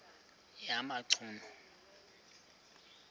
yamachunu